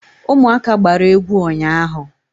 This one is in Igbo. Ụmụaka gbara egwu ụnyaahụ.